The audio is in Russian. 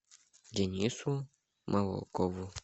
денису молокову